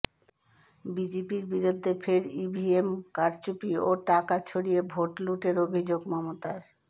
বিজেপির বিরুদ্ধে ফের ইভিএম কারচুপি ও টাকা ছড়িয়ে ভোট লুঠের অভিযোগ মমতার